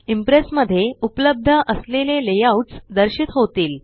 impress मध्ये उपलब्ध असलेले लेआउट्स दर्शित होतील